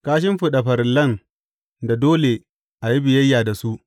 Ka shimfiɗa farillan da dole a yi biyayya da su.